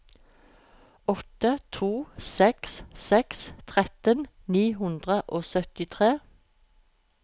åtte to seks seks tretten ni hundre og syttitre